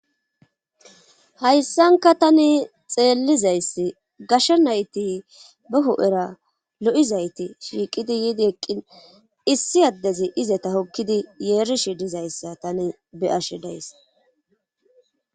Hayssanka tani xeellizayssi gashsha nayti baho,era lo,izayti shiiqidi yiidi eqqin issi addezi izeta hokkidi yeerishi dizayssa tani be,ashe days.